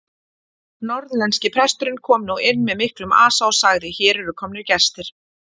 Norðlenski presturinn kom nú inn með miklum asa og sagði:-Hér eru komnir gestir!